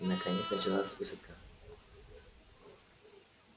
наконец началась высадка